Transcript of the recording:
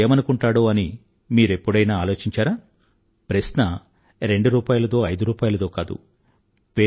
పేదవాడు ఏమనుకుంటాడో అని మీరెప్పుడైనా ఆలోచించారా ప్రశ్న రెండు రూపాయిలదో ఐదు రూపాయిలదో కాదు